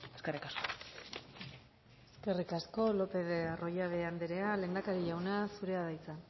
eskerrik asko eskerrik asko lopez de arroyabe anderea lehendakari jauna zurea da hitza